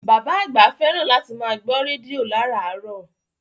Bàbá àgbà fẹ́ràn láti máa gbọ́ rédíò láràárọ̀